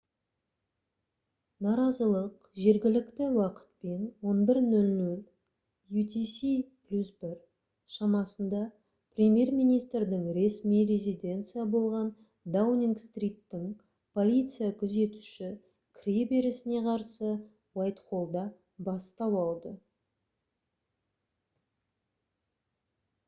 наразылық жергілікті уақытпен 11:00 utc + 1 шамасында премьер-министрдің ресми резиденция болған даунинг-стриттің полиция күзетуші кіреберісіне қарсы уайтхоллда бастау алды